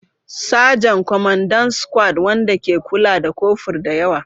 Sajan, Kwamandan squad wanda ke kula da kofur da yawa.